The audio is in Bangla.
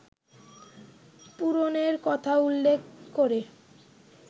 পূরণের কথা উল্লেখ করে